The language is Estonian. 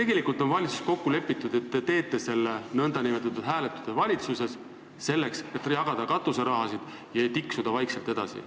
Kas teil on valitsuses kokku lepitud, et te teete selle nn hääletuse, selleks et jagada katuserahasid ja vaikselt edasi tiksuda?